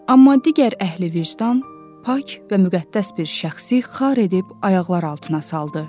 Amma digər əhli vicdan pak və müqəddəs bir şəxsi xar edib ayaqlar altına saldı.